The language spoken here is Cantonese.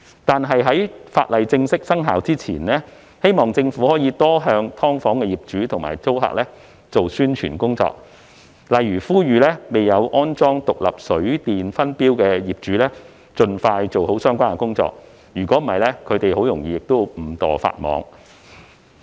但是，在法例正式生效前，我希望政府可以向"劏房"業主及租客多做宣傳工作，例如呼籲未有安裝獨立水電分錶的業主，盡快做好相關工作，否則他們很容易便會誤墮法網。